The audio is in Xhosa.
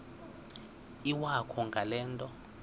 iwakho ngale nto